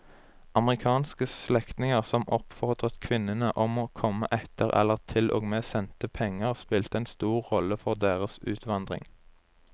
Amerikanske slektninger som oppfordret kvinnene om å komme etter eller til og med sendte penger spilte en stor rolle for deres utvandring.